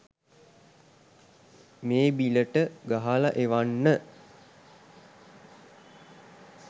මේ බිලට ගහල එවන්න